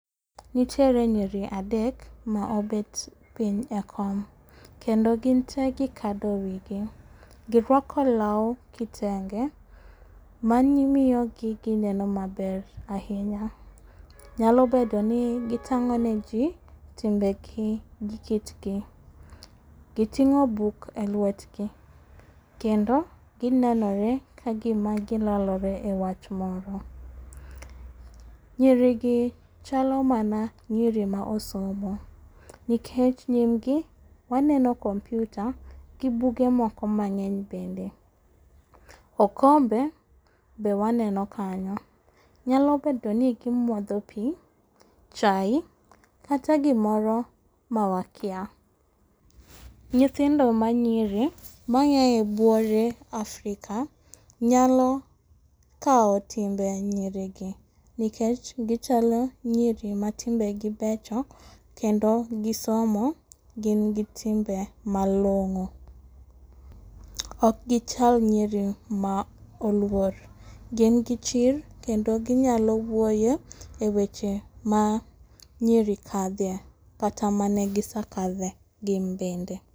Nitiere nyiri adek ma obet piny ekom kendo ginte gikado wigi. Girwako law kitenge mamiyo gineno maber ahinya. Nyalo bedoni gitang'o neji timbegi gi kitgi. Giting'o buk elwetgi kendo ginenore kagima kilalore ewach moro. Nyirigi chalo mana nyiri mosomo, nikech nyirigi waneno computer gi buge moko mang'eny bende .Okombe be waneno kanyo. Nyalo bedoni gimadho pii, chai kata gimoro mawakia. Nyithindo manyiri mayaye buore Africa nyalo kawo timbe nyiri nikech gichalo nyiri matimbegi becho kendo gisomo gin gi timbe malong'o .Ok gichal nyiri ma oluor gin gi chir kendo ginyalo wuoyo eweche ma nyiri kadhe kata mane gisakadhe gin bende.